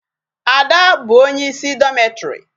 Ada bụ onye isi dormitory.